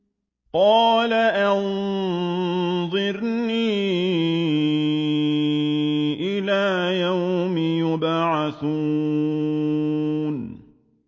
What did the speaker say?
قَالَ أَنظِرْنِي إِلَىٰ يَوْمِ يُبْعَثُونَ